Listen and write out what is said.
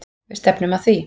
Við stefnum að því.